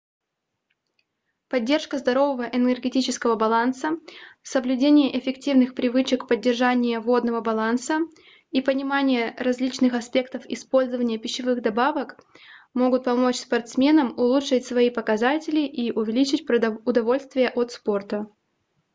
поддержка здорового энергетического баланса соблюдение эффективных привычек поддержания водного баланса и понимание различных аспектов использования пищевых добавок могут помочь спортсменам улучшить свои показатели и увеличить удовольствие от спорта